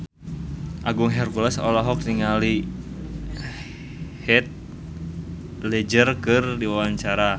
Agung Hercules olohok ningali Heath Ledger keur diwawancara